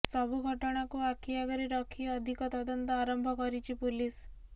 ସବୁ ଘଟଣାକୁ ଆଖି ଆଗରେ ରଖି ଅଧିକ ତଦନ୍ତ ଆରମ୍ଭ କରିଛି ପୁଲିସ